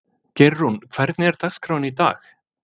Geirrún, hvernig er dagskráin í dag?